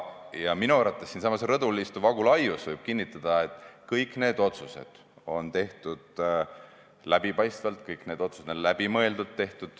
Ja minu arvates võib siinsamas rõdul istuv Agu Laius kinnitada, et kõik need otsused on tehtud läbipaistvalt, kõik need otsused on tehtud läbimõeldult.